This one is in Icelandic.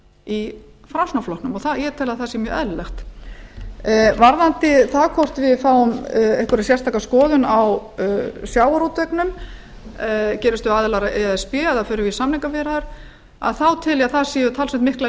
í framsóknarflokknum og ég tel að það sé mjög eðlilegt varðandi það hvort við fáum einhverja sérstaka skoðun á sjávarútveginum gerumst við aðilar að e s b eða förum við í samningaviðræður þá tel ég að það séu talsvert miklar